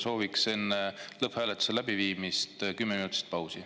Sooviks enne lõpphääletuse läbiviimist kümme minutit pausi.